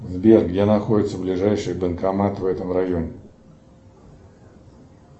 сбер где находится ближайший банкомат в этом районе